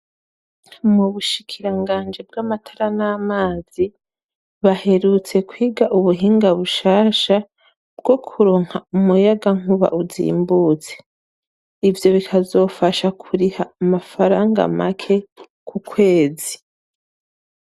Mu Bushikiranganji bw'amatara n'amazi baherutse kwiga ubuhinga bushasha bwo kuronka umuyagankuba uzimbutse. ivyo bikazofasha kuriha amafaranga make ku kwezi.